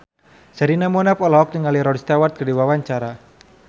Sherina Munaf olohok ningali Rod Stewart keur diwawancara